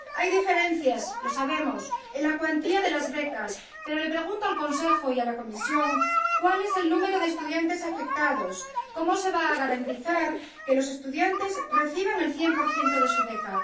Hay diferencias, lo sabemos, en la cuantía de las becas, pero les pregunto al Consejo y a la Comisión cuál es el número de estudiantes afectados y cómo se va a garantizar que los estudiantes reciban el 100 de su beca.